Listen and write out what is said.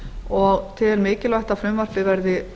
og tel mikilvægt að frumvarpið verði